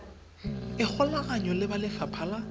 ikgolaganye le ba lefapha la